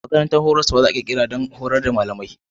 Makarantar horas za a ƙirƙira don horar da malamai.